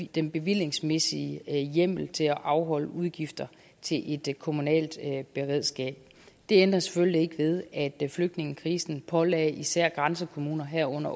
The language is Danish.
den bevillingsmæssige hjemmel til at afholde udgifter til et kommunalt beredskab det ændrer selvfølgelig ikke ved at flygtningekrisen pålagde især grænsekommuner herunder